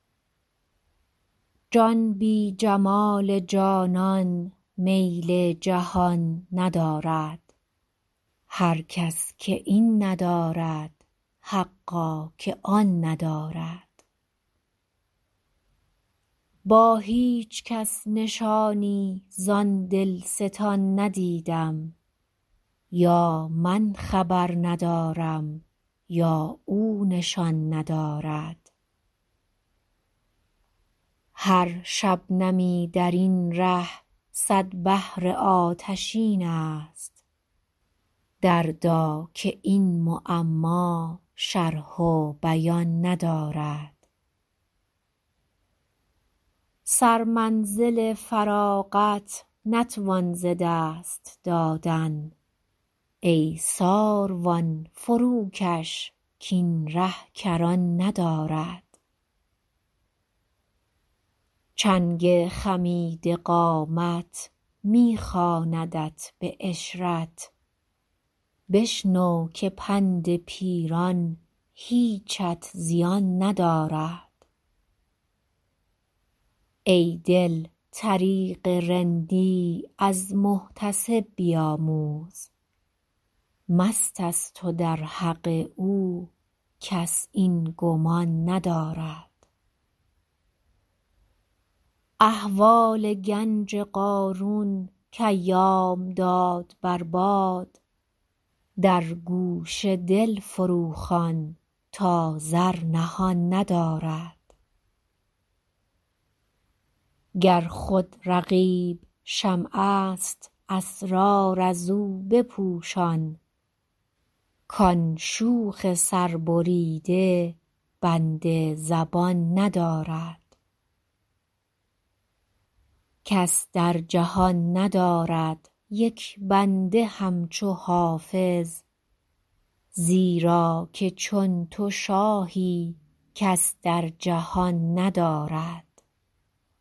جان بی جمال جانان میل جهان ندارد هر کس که این ندارد حقا که آن ندارد با هیچ کس نشانی زان دلستان ندیدم یا من خبر ندارم یا او نشان ندارد هر شبنمی در این ره صد بحر آتشین است دردا که این معما شرح و بیان ندارد سرمنزل فراغت نتوان ز دست دادن ای ساروان فروکش کاین ره کران ندارد چنگ خمیده قامت می خواندت به عشرت بشنو که پند پیران هیچت زیان ندارد ای دل طریق رندی از محتسب بیاموز مست است و در حق او کس این گمان ندارد احوال گنج قارون کایام داد بر باد در گوش دل فروخوان تا زر نهان ندارد گر خود رقیب شمع است اسرار از او بپوشان کان شوخ سربریده بند زبان ندارد کس در جهان ندارد یک بنده همچو حافظ زیرا که چون تو شاهی کس در جهان ندارد